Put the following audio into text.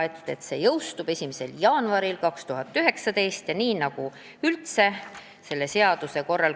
Need punktid jõustuvad 1. jaanuaril 2019. aastal.